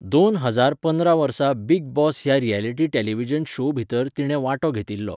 दोन हजार पांदरा वर्सा बिग बॉस ह्या रियलिटी टेलिव्हिजन शो भितर तिणें वांटो घेतिल्लो.